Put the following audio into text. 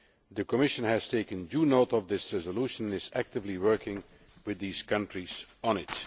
The Commission has taken due note of this resolution and is actively working with these countries on